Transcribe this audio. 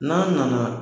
N'a nana